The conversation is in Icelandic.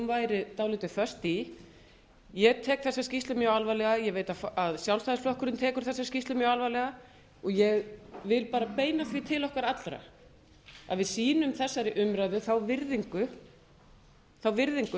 væri dálítið föst í ég tek þessa skýrslu mjög alvarlega ég veit að sjálfstæðisflokkurinn tekur þessa skýrslu mjög alvarlega og ég vil bara beina því til okkar allra að við sýnum þessari umræðu þá virðingu